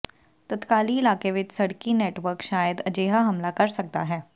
ਤਤਕਾਲੀ ਇਲਾਕੇ ਵਿਚ ਸੜਕੀ ਨੈਟਵਰਕ ਸ਼ਾਇਦ ਅਜਿਹਾ ਹਮਲਾ ਕਰ ਸਕਦਾ ਹੈ